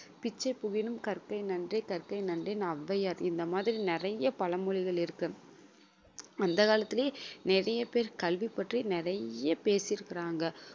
பிச்சை புகினும் கற்கை நன்றே கற்கை நன்றேன்னு ஔவையர் இந்த மாதிரி நிறைய பழமொழிகள் இருக்கு அந்த காலத்திலேயே நிறைய பேர் கல்வி பற்றி நிறைய பேசி இருக்கிறாங்க